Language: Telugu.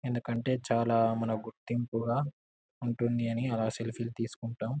ఎందుకంటె చాలా మన గుర్తింపుగ ఉంటుందని ఆలా సెల్ఫీలు తీసుకుంటాం.